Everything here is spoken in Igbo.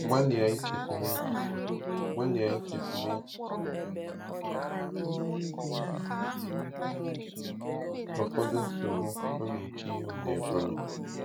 Gbalịa ichetụ n'echiche Gbalịa ichetụ n'echiche ụfọdụ nsogbu ọ na-eche ihu n'Ebonyi.